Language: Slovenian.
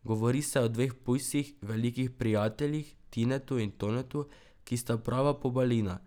Govori o dveh pujsih, velikih prijateljih, Tinetu in Tonetu, ki sta prava pobalina.